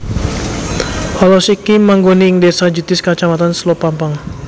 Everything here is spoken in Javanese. Alas iki manggon ing désa Jetis kacamatan Selopampang